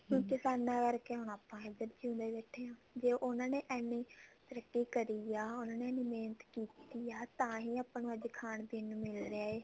ਹੁਣ ਕਿਸਾਨ ਕਰਕੇ ਆਪਾਂ ਇੱਧਰ ਜਿਓੰਦੇ ਬੈਠੇ ਹਾਂ ਤੇ ਉਹਨਾ ਨੇ ਇੰਨੇ ਤਰੱਕੀ ਕਰੀ ਆ ਉਹਨਾ ਨੇ ਇੰਨੀ ਮਿਹਨਤ ਕੀਤੀ ਆ ਤਾਂਹੀ ਆਪਾਂ ਨੂੰ ਅੱਜ ਖਾਣ ਪੀਣ ਨੂੰ ਮਿਲ ਰਿਹਾ ਹੈ